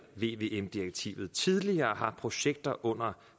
vvm direktivet på tidligere har projekter under